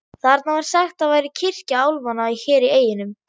Þarna var sagt að væri kirkja álfanna hér í eyjunum.